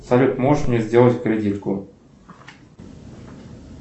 салют можешь мне сделать кредитку